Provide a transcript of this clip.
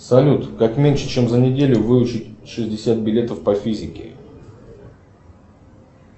салют как меньше чем за неделю выучить шестьдесят билетов по физике